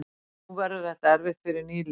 Nú verður þetta erfitt fyrir nýliðanna